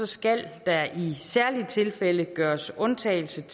skal der i særlige tilfælde gøres undtagelse